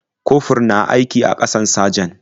Kofur na aiki a ƙasan sajan.